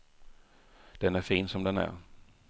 Den är fin som den är.